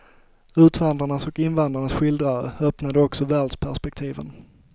Utvandrarnas och invandrarnas skildrare öppnade också världsperspektiven.